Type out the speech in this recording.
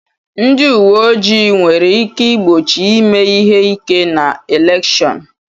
Ndị uwe ojii nwere ike igbochi ime ihe ike na elèkshón